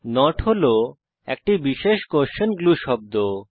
not হল একটি বিশেষ কোস্বেন গ্লু শব্দ